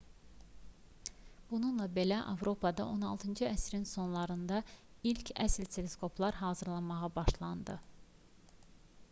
bununla belə avropada 16-cı əsrin sonlarında ilk əsl teleskoplar hazırlanmağa başlamışdı